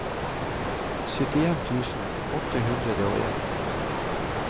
syttien tusen åtte hundre og en